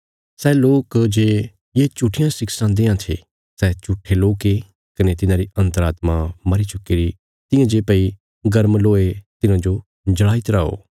सै लोक जे ये झुट्ठियां शिक्षां देआं थे सै झूट्ठे लोक ये कने तिन्हांरी अन्तरात्मा मरी चुक्कीरी तियां जे भई गर्म लोहे तिन्हांजो जल़ाई तरा हो